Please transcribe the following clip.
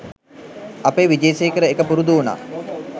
අපේ විජේසේකර එක පුරුදු උනා